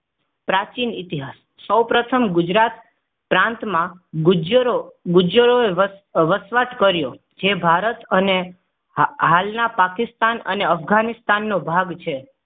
પ્રાચીન ઇતિહાસ સૌપ્રથમ ગુજરાત પ્રાંતમાં ગુજ્જરો ગુજ્જરોએ વસવાટ કર્યો. જે ભારત અને હાલના પાકિસ્તાન અને અફઘાનિસ્તાન નો ભાગ છે.